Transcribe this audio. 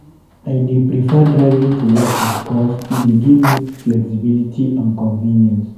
I dey prefer driving to work because e dey give me flexibility and convenience.